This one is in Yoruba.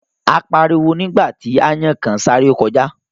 A pariwo nígbà tí aáyán kan sáré kọjá